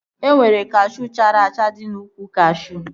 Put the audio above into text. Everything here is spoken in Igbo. E nwere kashuu chara acha dị n'úkwù kashuu